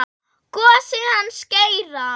Gosinn hans Geira.